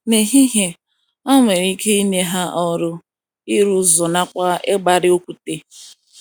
N’ehihie, a nwere ike inye ha ọrụ ịrụ ụzọ nakwa ịgbari okwute.